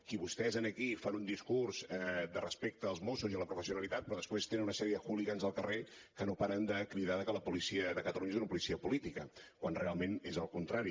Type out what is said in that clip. que vostès aquí fan un discurs de respecte als mossos i a la professionalitat però després tenen una sèrie de hooligans al carrer que no paren de cridar que la policia de catalunya és una policia política quan realment és el contrari